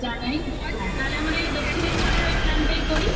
জানাই বল হ্যাঁ তাহলে আমার এই দক্ষিণেশ্বরের ওই Plan টাই করি